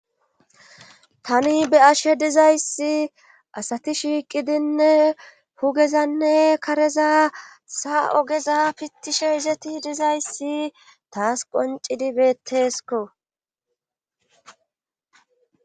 tani be ashe dizayssi asati shiiqidinne hugezanne kareza sa ogeza pitishe izeti dizayssi taas qoncidibeettesko